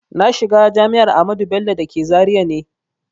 Na shiga jami'ar Ahmadu Bello da ke Zaria ne